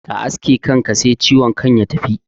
Ka aske kanka sai ciwon kan ya tafi